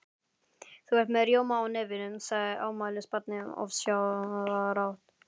Þú ert með rjóma á nefinu, sagði afmælisbarnið ósjálfrátt.